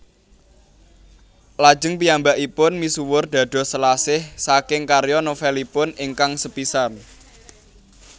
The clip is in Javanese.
Lajeng piyambakipun misuwur dados Selasih saking karya novelipun ingkang sepisan